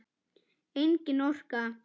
Engin orka.